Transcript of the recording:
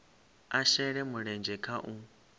a shele mulenzhe kha u